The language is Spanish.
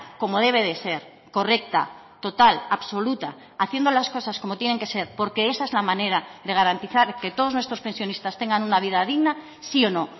como debe de ser correcta total absoluta haciendo las cosas como tienen que ser porque esa es la manera de garantizar que todos nuestros pensionistas tengan una vida digna sí o no